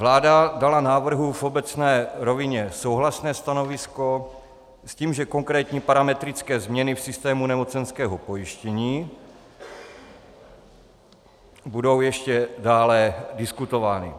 Vláda dala návrhu v obecné rovině souhlasné stanovisko s tím, že konkrétní parametrické změny v systému nemocenského pojištění budou ještě dále diskutovány.